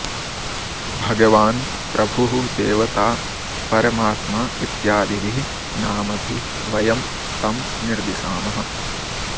भगवान् प्रभुः देवता परमात्मा इत्यादिभिः नामभिः वयं तं निर्दिशामः